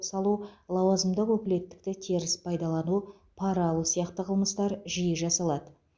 салу лауазымдық өкілеттікті теріс пайдалану пара алу сияқты қылмыстар жиі жасалады